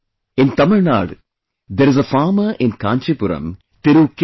In Tamil Nadu, there is a farmer in Kancheepuram, Thiru K